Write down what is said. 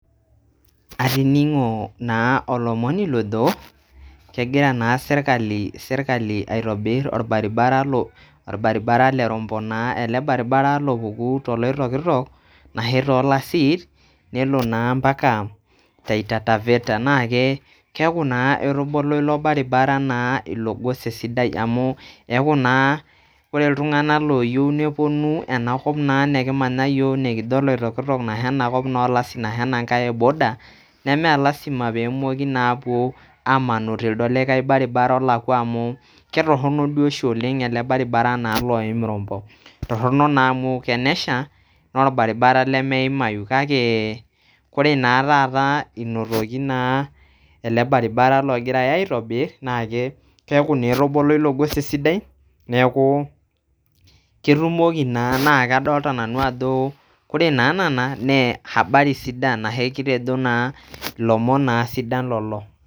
Atining'o naa lomoni lojo kegira naa serikali aitobir irbaribara le rombo naa ale irbaribara lopuku to loitokitok arashu tooo lasit nelo naa mpaka Taita Taveta naa keaku naaa etobolo ilo irbaribara naa ilo ilogose sidai naa amu eaku naa ore ltungana looyeu neponu ena kop naa nikimanya yook nikijo oloitoktok ashu naa anakop oolasin ashu anaa inkae eboda nemee lasima peemoki naapo aamanu teildo likae naa irbaribara olakwa amu ketorino doi oshi ale irbaribara naa oim orombo, etorino naa amu tenesha naa orbaribara lemeimayu kake kore naa taata enetoki naa ale irbaribara logirai aitobirr naa keaku naa etobolo ilogosi sidai neaku ketumoki naa kadolita nanu ajo kore naa nena naa habari sidan ashu kitejo naa lomon naa sidan lelo.